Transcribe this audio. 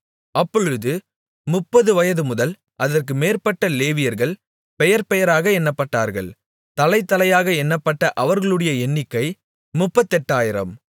அப்பொழுது முப்பது வயதுமுதல் அதற்கு மேற்பட்ட லேவியர்கள் பெயர்பெயராக எண்ணப்பட்டார்கள் தலைதலையாக எண்ணப்பட்ட அவர்களுடைய எண்ணிக்கை முப்பத்தெட்டாயிரம்